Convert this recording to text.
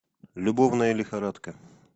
любовная лихорадка